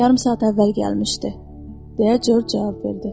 Yarım saat əvvəl gəlmişdi, deyə Corc cavab verdi.